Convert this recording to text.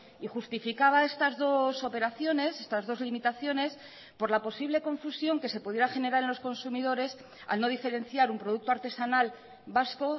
y justificaba estas dos operaciones estas dos limitaciones por la posible confusión que se pudiera generar en los consumidores al no diferenciar un producto artesanal vasco